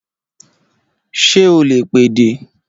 Ṣé o lè pèdè?